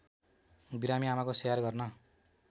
बिरामी आमाको स्याहार गर्न